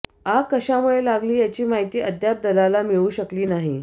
आग कशामुळे लागली याची माहिती अद्याप दलाला मिळू शकली नाही